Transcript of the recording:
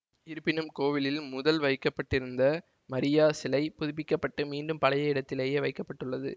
இருப்பினும் கோவிலில் முதலில் வைக்க பட்டிருந்த மரியா சிலை புதுப்பிக்க பட்டு மீண்டும் பழைய இடத்திலேயே வைக்க பட்டுள்ளது